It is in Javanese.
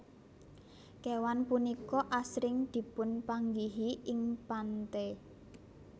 Kéwan punika asring dipunpanggihi ing pantè